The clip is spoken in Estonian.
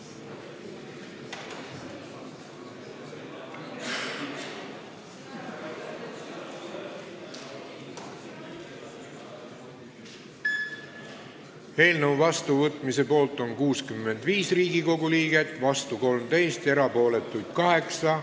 Hääletustulemused Eelnõu seadusena vastuvõtmise poolt on 65 Riigikogu liiget ja vastu 13, erapooletuks jäi 8.